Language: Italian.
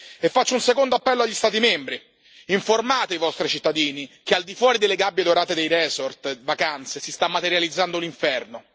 E faccio un secondo appello agli Stati membri informate i vostri cittadini che al di fuori delle gabbie dorate dei resort vacanze, si sta materializzando un inferno.